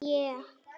Hætt við þig.